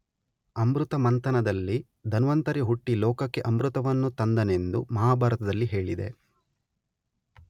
ಅಮೃತಮಂಥನದಲ್ಲಿ ಧನ್ವಂತರಿ ಹುಟ್ಟಿ ಲೋಕಕ್ಕೆ ಅಮೃತವನ್ನು ತಂದನೆಂದು ಮಹಾಭಾರತದಲ್ಲಿ ಹೇಳಿದೆ.